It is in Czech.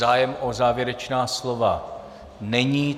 Zájem o závěrečná slova není.